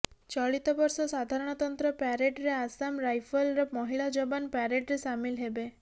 ଚଳିତ ବର୍ଷ ସାଧାରଣତନ୍ତ୍ର ପ୍ୟାରେଡରେ ଆସାମ ରାଇଫଲର ମହିଳା ଯବାନ ପ୍ୟାରେଡରେ ସାମିଲ ହେବେ